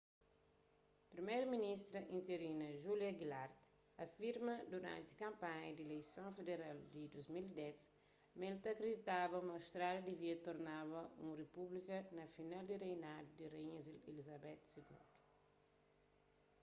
priméru-ministra interinu julia gillard afirma duranti kanpanha di ileison federal di 2010 ma el ta kriditaba ma austrália divia tornaba un repúblika na final di reinadu di raínha elizabeth ii